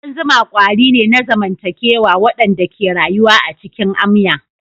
Kudan zuma kwari ne na zamantakewa waɗanda ke rayuwa a cikin amya.